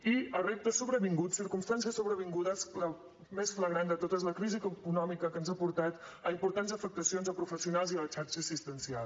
i a reptes sobrevinguts circumstàncies sobrevingudes la més flagrant de totes la crisi econòmica que ens ha portat a importants afectacions a professionals i a la xarxa assistencial